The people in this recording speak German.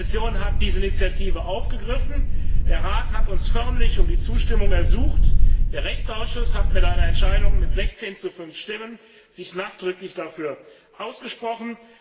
Die Kommission hat diese Initiative aufgegriffen. Der Rat hat uns förmlich um Zustimmung ersucht. Der Rechtsausschuss hat sich mit 16 zu 5 Stimmen nachdrücklich dafür ausgesprochen.